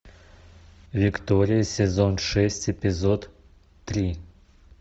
виктория сезон шесть эпизод три